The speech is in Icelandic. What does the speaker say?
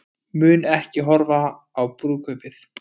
Mun ekki horfa á brúðkaupið